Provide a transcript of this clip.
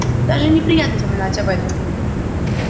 даже неприятно вспоминать об этом